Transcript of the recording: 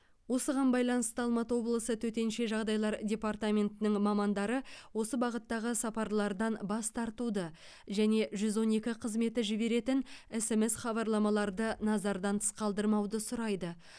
осыған байланысты алматы облысы төтенше жағдайлар департаментінің мамандары осы бағыттағы сапарлардан бас тартуды және жүз он екі қызметі жіберетін смс хабарламаларды назардан тыс қалдырмауды сұрайды